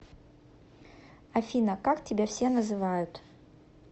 афина как тебя все называют